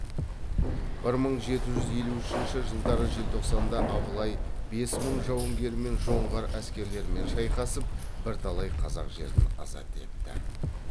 бір мың жеті жүз елу үшінші жылдары желтоқсанда абылай бес мың жауынгермен жоңғар әскерлерімен шайқасып бірталай қазақ жерін азат етті